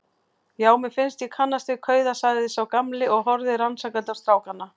Já, mér fannst ég kannast við kauða sagði sá gamli og horfði rannsakandi á strákana.